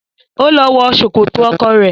Ó lọ wọ Sòkòtò ọkọ rẹ.